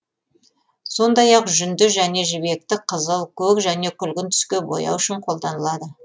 сондай ақ жүнді және жібекті қызыл көк және күлгін түске бояу үшін қолданылады